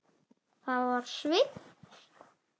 Það var Sveinn.